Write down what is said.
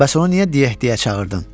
Bəs onu niyə Di-e Di-e çağırdın?